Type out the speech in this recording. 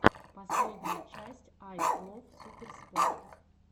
последняя часть ай лов суперспорт